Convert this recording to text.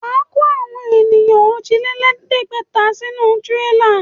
Wà á kó èèyàn òjìlélẹ̀ẹ́dégbèfà sínú tírélá.